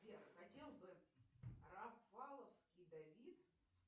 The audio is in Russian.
сбер хотел бы рафаловский давид